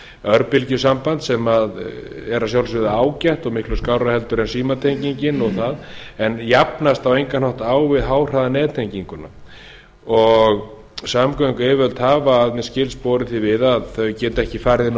örbylgjusamband sem er að sjálfsögðu ágætt og miklu skárra en símatengingin og það en jafnast á engan hátt á við háhraðanettenginguna samgönguyfirvöld hafa að mér skilst borið því við að þau geti ekki farið inn á